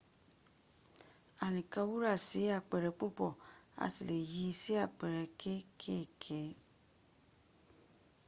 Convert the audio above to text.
a lè kan wúra sí àpere púpọ̀ a lè yíi sí àpere kékèké